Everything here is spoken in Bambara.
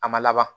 A ma laban